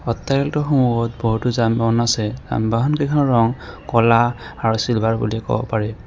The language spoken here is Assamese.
ইফটাৰেলটোৰ সন্মুখত বহুতো যান-বাহন আছে যান-বাহন কেইখনৰ ৰং ক'লা আৰু চিলভাৰ বুলি ক'ব পাৰি।